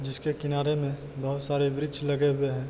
जिसके किनारे मे बहुत सारे वृक्ष लगे हुए है।